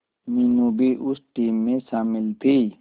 मीनू भी उस टीम में शामिल थी